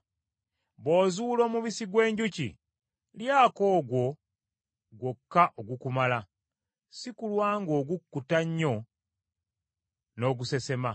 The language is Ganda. Bw’ozuula omubisi gw’enjuki, lyako ogwo gwokka ogukumala, si kulwa ng’ogukkuta nnyo n’ogusesema.